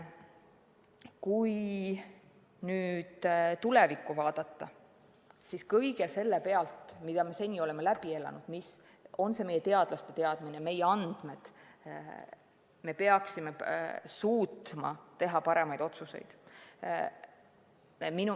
Kui nüüd tulevikku vaadata, siis kõige selle pealt, mida me seni oleme läbi elanud või milline on meie teadlaste teadmine, peaksime suutma teha paremaid otsuseid.